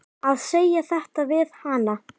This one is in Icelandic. Að segja þetta við hana.